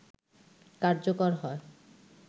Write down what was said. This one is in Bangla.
কার্যকর হয়